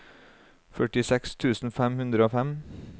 førtiseks tusen fem hundre og fem